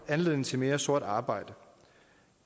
anledning til mere sort arbejde